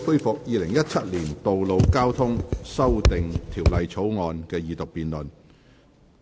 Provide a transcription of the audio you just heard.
本會恢復《2017年道路交通條例草案》的二讀辯論。